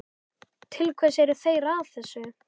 Til hvers eru þeir að þessu?